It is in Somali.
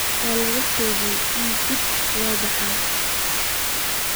Waa la hakiyay in dibadda loo baxo